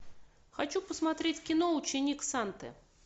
хочу посмотреть кино ученик санты